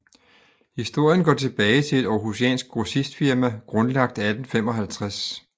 Historien går tilbage til et århusiansk grossistfirma grundlagt i 1855